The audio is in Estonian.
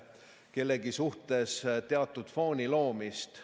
... kellegi suhtes teatud fooni loomist.